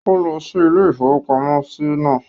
Ó lọ sí ilé-ìfowópamọ́sí náà